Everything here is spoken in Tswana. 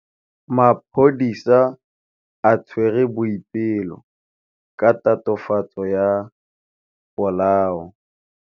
Maphodisa a tshwere Boipelo ka tatofatsô ya polaô.